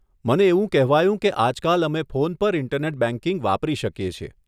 મને એવું કહેવાયું કે આજકાલ અમે ફોન પર ઈન્ટરનેટ બેંકિંગ વાપરી શકીએ છીએ.